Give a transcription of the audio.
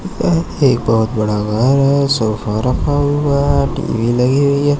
यह एक बहुत बड़ा घर है सोफा रखा हुआ है टी_वी लगी हुई है।